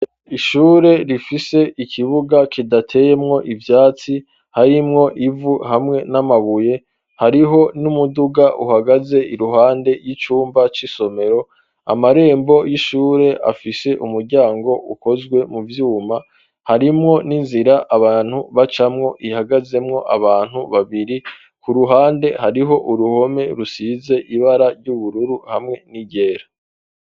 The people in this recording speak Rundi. Ihure rifise ikibuga kidateyemwo ivyatsi harimwo ivu hamwe n'amabuye hariho n'umuduga uhagaze iruhande y'icumba c'isomero, amarembo y'ishure afise umuryango ukozwe mu vyuma harimwo n'inzira abantu bacamwo ihagazemwo abantu babiri ku ruhande hariho uruhome rusize ibara ry'ubururu hamwe n'iryera.